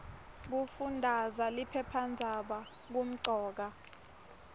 kufundaza liphephandzaba kumcoka